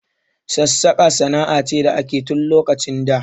Sassaƙa sana'a ce da akeyi tun lokacin da